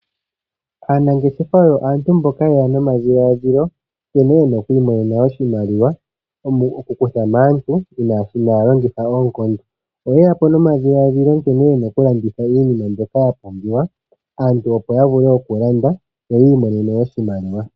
Aanangeshefa oyo aantu mboka ye ya po nomadhiladhilo nkene ye na okwiimonena oshimaliwa, okukutha maantu inaaya longitha oonkondo. Oye ya po nomadhiladhilo nkene ye na okulanditha iinima mbyoka ya pumbiwa, aantu opo ya vule okulanda opo yi monene oshimaliwa.